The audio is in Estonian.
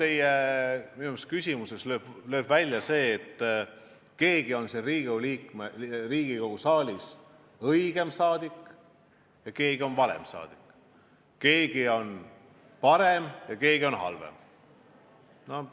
Minu meelest teie küsimuses lööb taas välja arusaam, et keegi on siin Riigikogu saalis õigem saadik ja keegi on valem saadik, keegi on parem ja keegi on halvem.